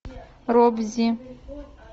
робзи